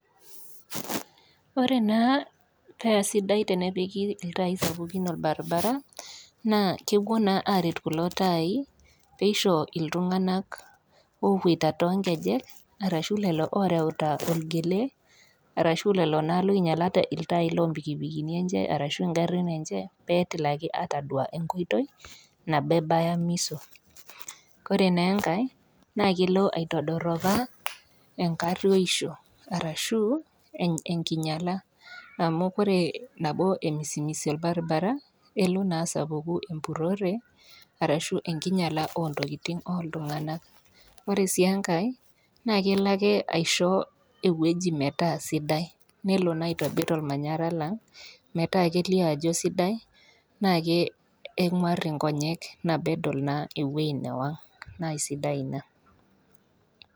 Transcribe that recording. Ore naa paa sidai tenepiki iltaai sapukin olbaribara, naa kepuo naa aret kulo taai peisho iltung'anak oopuoita too inkejek arashu lelo ooreuta olgele, arashu lelo naa oinyalate iltaai loo impikipikini enye, arashu ingarin enye, pee etilaki atodua enkoitoi, nabo ebaya miso. Ore naa enkai naa kelo aitodoropaa enkaruoisho arashu enkinyala amu ore nabo emisumisu olbaribara, elo naa asapuku empurore, arashu enkinyala oo ntokitin oo iltung'ana. Ore sii enkai naa kkelo ake aisho entoki metaa sidai, anaa naa elo aitobir olmanyara lang' metaa kelio ajo sidai metaa keng'war inkonyek, nabo naa edol ewueji newang' naa sidai naa ina.